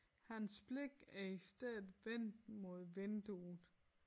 Hans blik er i stedet vendt mod vinduet